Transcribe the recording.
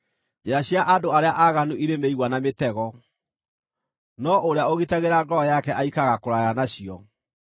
Njĩra cia andũ arĩa aaganu irĩ mĩigua na mĩtego, no ũrĩa ũgitagĩra ngoro yake aikaraga kũraya nacio.